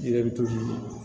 I yɛrɛ bɛ to